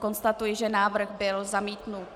Konstatuji, že návrh byl zamítnut.